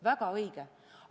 Väga õige.